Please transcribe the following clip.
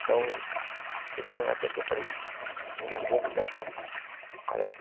Então, chegou uma época que eu falei, eu não vou mudar isso aqui. Sabe, eu acho que